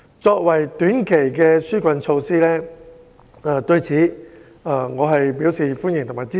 作為短期的紓困措施，我對此表示歡迎和支持。